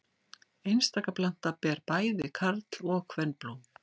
Einstaka planta ber bæði karl- og kvenblóm.